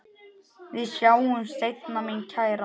Við sjáumst seinna mín kæra.